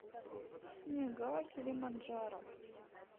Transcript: снега килиманджаро